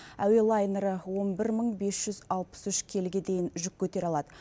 әуе лайнері он бір мың бес жүз алпыс үш келіге дейін жүк көтере алады